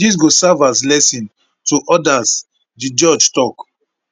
dis go serve as lesson to odas di judge tok